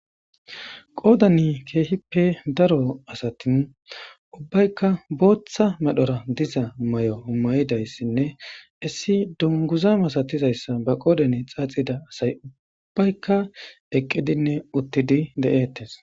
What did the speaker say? Qoodani keehippe daro asatin ubbaykka booththa madhora diza may7o umayidayssinne issi dunguza masatizayssa ba qoodane xaaxida asay uubbaykka eqqidinne uttidi de7ettes.